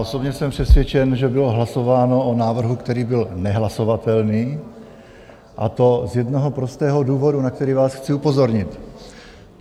Osobně jsem přesvědčen, že bylo hlasováno o návrhu, který byl nehlasovatelný, a to z jednoho prostého důvodu, na který vás chci upozornit.